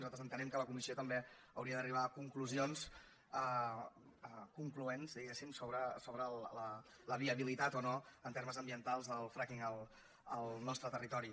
nosaltres entenem que la comissió també hauria d’arribar a conclusions concloents diguéssim sobre la viabilitat o no en termes ambientals del frackingritori